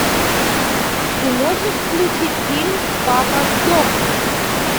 ты можешь включить фильм папа сдохни